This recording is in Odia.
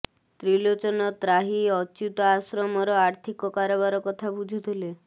ତ୍ରିଲୋଚନ ତ୍ରାହି ଅଚ୍ୟୁତ ଆଶ୍ରମର ଆର୍ଥିକ କାରବାର କଥା ବୁଝୁଥିଲେ